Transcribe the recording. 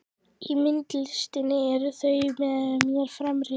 Í myndlistinni ert þú mér fremri.